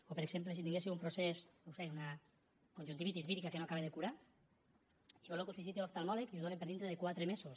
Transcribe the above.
o per exemple si tinguéssiu un procés no ho sé una conjuntivitis vírica que no s’acaba de curar i voleu que us visiti l’oftalmòleg i us donen per dintre de quatre mesos